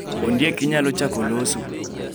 Ondiek inyalo chako loso